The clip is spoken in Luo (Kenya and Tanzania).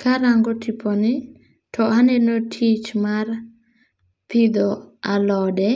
Ka arango tiponi, to aneno tich mar pidho alode,